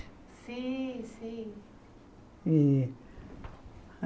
Sim, sim. E